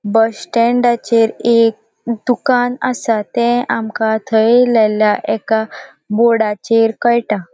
बस स्टॅण्डाचेर एक दुकान असा ते आमका थंय लायल्या एका बोर्डाचेर कळटा.